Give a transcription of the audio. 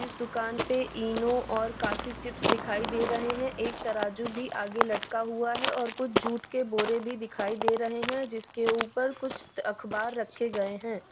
इस दुकान पे इनो और काफी चिप्स दिखाई दे रहे हैं एक तराजू भी आगे लटका हुआ है और कुछ जुट के बोरे भी दिखाई दे रहे हैं जिसके ऊपर कुछ अखबार रखे गए हैं।